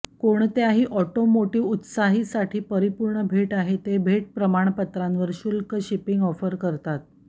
हे कोणत्याही ऑटोमोटिव्ह उत्साही साठी परिपूर्ण भेट आहे ते भेट प्रमाणपत्रांवर शुल्क शिपिंग ऑफर करतात